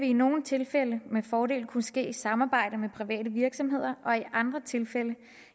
i nogle tilfælde med fordel kunne ske i samarbejde med private virksomheder og i andre tilfælde